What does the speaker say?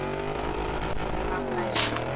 Deila þessu